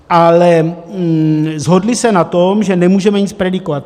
Ale shodli se na tom, že nemůžeme nic predikovat.